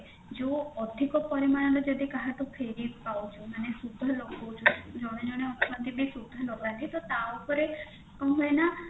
ଯୋଉ ଅଧିକ ପରିମାଣ ରେ ଯଦି କାହାଠୁ ଫେରି ପାଉଛୁ ମାନେ ସୁଧ ଲଗଉଛୁ ଜଣେ ଜଣେ ଅଛନ୍ତି ବି ସୁଧ ଲାଗନ୍ତି ତ ତା ଉପରେ କଣ ହୁଏନା